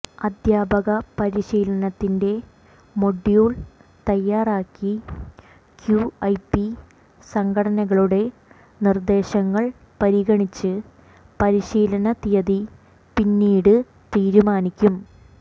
അധ്യാപക പരിശീലനത്തിൻ്റെ മൊഡ്യൂൾ തയ്യാറാക്കി ക്യുഐപി സംഘടനകളുടെ നിർദ്ദേശങ്ങൾ പരിഗണിച്ച് പരിശീലന തീയതി പിന്നീട് തീരുമാനിക്കും